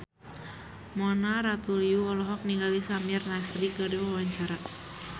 Mona Ratuliu olohok ningali Samir Nasri keur diwawancara